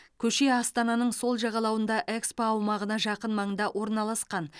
көше астананың сол жағалауында экспо аумағына жақын маңда орналасқан